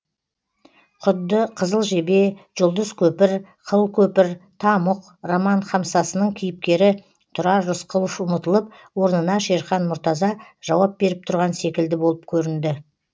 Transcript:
құдды қызыл жебе жұлдыз көпір қыл көпір тамұқ роман хамсасының кейіпкері тұрар рысқұлов ұмытылып орнына шерхан мұртаза жауап беріп тұрған секілді болып көрінді